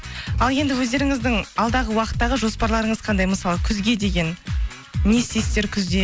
ал енді өздеріңіздің алдағы уақыттағы жоспарларыңыз қандай мысалы күзге деген не істейсіздер күзде